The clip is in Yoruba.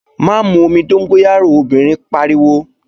Má mu omi dóngóyárò, obìnrin pariwo!